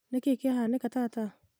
nĩkĩĩ kĩahanĩka tata?